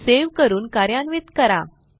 save करून कार्यान्वित करा